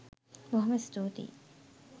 බොහොම ස්තූතියි